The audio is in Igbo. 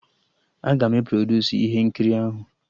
Aga m e produsu ihe nkiri ahụ